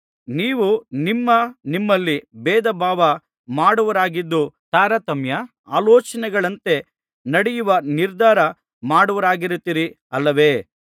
ನೀವು ನಿಮ್ಮ ನಿಮ್ಮಲ್ಲಿ ಭೇದಭಾವ ಮಾಡುವವರಾಗಿದ್ದು ತಾರತಮ್ಯ ಆಲೋಚನೆಗಳಂತೆ ನಡೆಯುವ ನಿರ್ಧಾರ ಮಾಡುವವರಾಗಿರುತ್ತೀರಿ ಅಲ್ಲವೇ